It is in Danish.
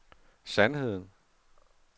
sandheden